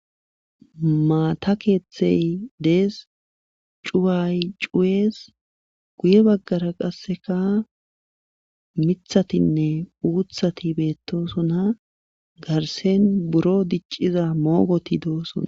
maata keeththey dees cuway cuwees guye baggara qasseka mithatinne uuthati beettosona garsen buro dicciza moogoti doosona